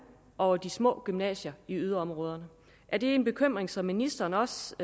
over de små gymnasier i yderområderne er det en bekymring som ministeren også